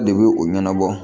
De bɛ u ɲɛnabɔ